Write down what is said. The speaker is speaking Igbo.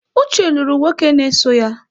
Uche lụrụ nwoke na-eso ya